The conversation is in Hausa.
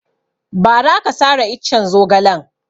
Ba ra aka sare iccen zogalen